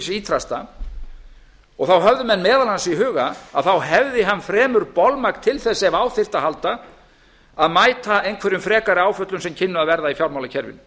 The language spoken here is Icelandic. trausta og þá höfðu menn meðal annars í huga að þá hefði hann fremur bolmagn til þess ef á þyrfti að halda að mæta einhverjum frekari áföllum sem kynnu að verða í fjármálakerfinu